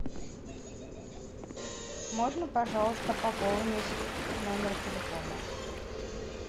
можно пожалуйста пополнить номер телефона